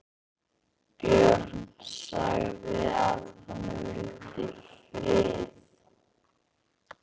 Björn sagði að hann vildi frið.